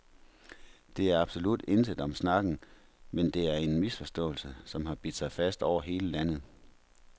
Der er absolut intet om snakken, men det er en misforståelse, som har bidt sig fast over hele landet.